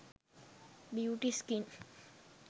beauty skin